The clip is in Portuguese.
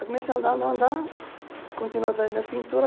Comecei a andar, andar, andar, continuei fazendo minhas pinturas.